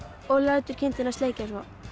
og lætur kindina sleikja svo